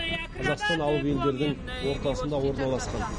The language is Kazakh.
қазақстан алып елдердің ортасында орналасқан